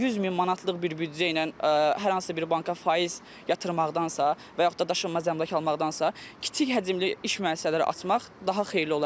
100 min manatlıq bir büdcə ilə hər hansı bir banka faiz yatırmaqdansa və yaxud da daşınmaz əmlak almaqdansa, kiçik həcmli iş müəssisələri açmaq daha xeyirli olar.